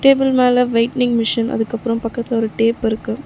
Table மேல வெய்ட்னிங் machine அதுக்கு அப்றோ பக்கத்துல ஒரு டேப் இருக்கு.